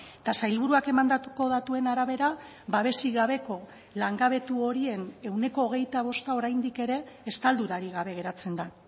eta sailburuak emandako datuen arabera babesik gabeko langabetu horien ehuneko hogeita bosta oraindik ere estaldurarik gabe geratzen da